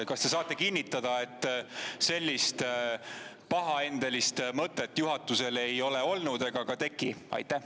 Kas te saate kinnitada, et sellist pahaendelist mõtet juhatusel pole olnud ega ka teki?